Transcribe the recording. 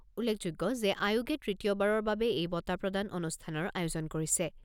উল্লেখযোগ্য যে আয়োগে তৃতীয়বাৰৰ বাবে এই বঁটা প্ৰদান অনুষ্ঠানৰ আয়োজন কৰিছে।